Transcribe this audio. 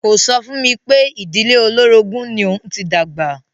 Kò sọ fún mi pé ìdílé olórogún ni òun ti dàgbà.